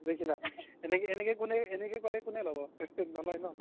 দেখিলা এনেকে এনেকে ক'লে কোনে ল্'ব নলই ন